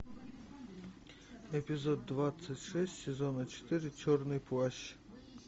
эпизод двадцать шесть сезона четыре черный плащ